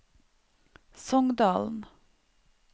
Songdalen